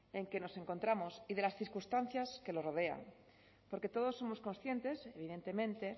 en que nos encontramos y de las circunstancias que lo rodean porque todos somos conscientes evidentemente